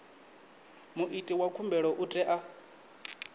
muiti wa khumbelo u tea